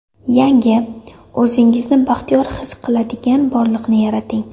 Yangi, o‘zingizni baxtiyor his qiladigan borliqni yarating!